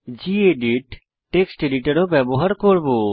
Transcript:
gedit text editor ও ব্যবহার করব